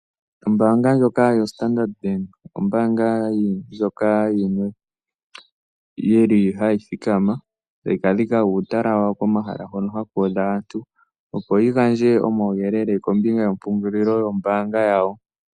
Ombanga ndjoka yo Standard Bank ombanga ndjoka yimwe yili hayithikama etayi kadhika uutala wawo komahala hono hakudha aantu opo yigandje omawuyelele kombinga yepungulilo lyombanga yawo.